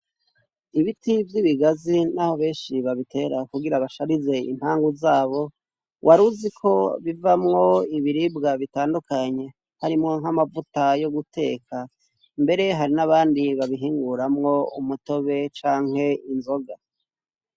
Ibiti vy'ibigazi n'aho benshi babitera kugira basharize impangu zabo waruzi ko bivamwo ibiribwa bitandukanye harimwo nk'amavuta yo guteka mbere hari n'abandi babihinguramwo umutobe canke inzoga.